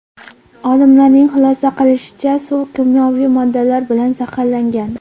Olimlarning xulosa qilishicha, suv kimyoviy moddalar bilan zaharlangan.